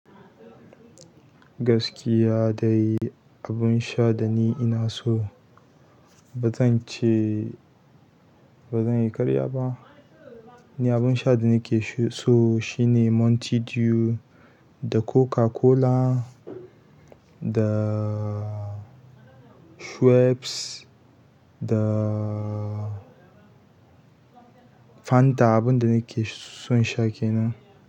Gaskiya dai abin sha da ni ina so bazan ce bazan yi karya ba ni abun sha da nake so shine Mountain Dew da Coca-Cola da Schweppes da fanta abun da nake son sha kenan.